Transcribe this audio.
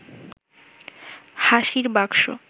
হাসির বাকসো